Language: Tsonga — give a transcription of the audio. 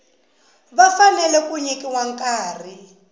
va fanele ku nyikiwa nkarhi